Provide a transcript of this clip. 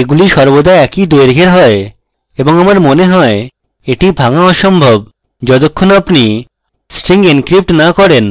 এগুলি সর্বদা একই দৈর্ঘের হয় এবং আমার মনে হয় এটি ভাঙা অসম্ভব যতক্ষণ আপনি string encrypt না করেন